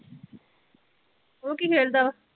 ਓਹ ਕੀ ਖੇਲ ਦਾ ਵਾ?